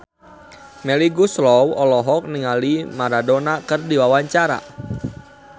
Melly Goeslaw olohok ningali Maradona keur diwawancara